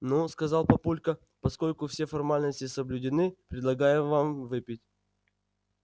ну сказал папулька поскольку все формальности соблюдены предлагаю вам выпить